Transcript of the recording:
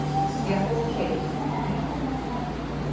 Ég fór til